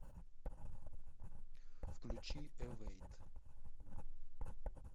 включи эвэйт